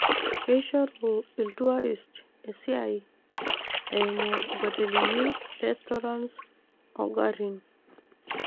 Keishoru iltuarist esiaai eeimu inkotelini, restaurants onkarin.